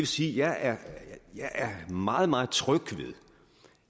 sige at jeg er meget meget tryg ved